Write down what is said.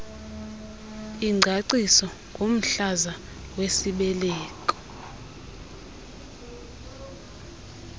ingcaciso ngomhlaza wesibeleko